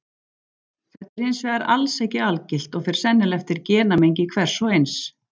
Þetta er hins vegar alls ekki algilt og fer sennilega eftir genamengi hvers og eins.